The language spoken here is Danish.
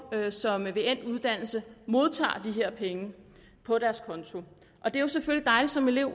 som ved endt uddannelse modtager de her penge på deres konto og det er selvfølgelig dejligt som elev